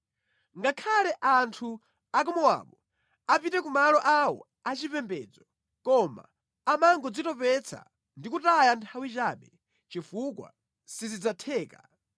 Ngakhale anthu a ku Mowabu apite ku malo awo achipembedzo koma amangodzitopetsa ndi kutaya nthawi chabe chifukwa sizidzatheka.